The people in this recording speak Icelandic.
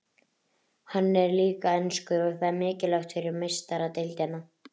Hann er líka enskur og það er mikilvægt fyrir Meistaradeildina.